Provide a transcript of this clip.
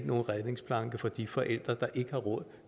nogen redningsplanke for de forældre der ikke har råd